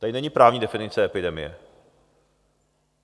Tady není právní definice epidemie.